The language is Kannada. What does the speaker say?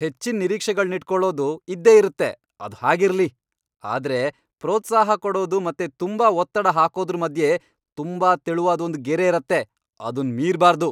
ಹೆಚ್ಚಿನ್ ನಿರೀಕ್ಷೆಗಳ್ನಿಟ್ಕೊಳೋದ್ ಇದ್ದೇ ಇರತ್ತೆ, ಅದ್ ಹಾಗಿರ್ಲಿ, ಆದ್ರೆ ಪ್ರೋತ್ಸಾಹ ಕೊಡೋದು ಮತ್ತೆ ತುಂಬಾ ಒತ್ತಡ ಹಾಕೋದ್ರು ಮಧ್ಯೆ ತುಂಬಾ ತೆಳುವಾದ್ ಒಂದ್ ಗೆರೆ ಇರತ್ತೆ, ಅದುನ್ ಮೀರ್ಬಾರ್ದು!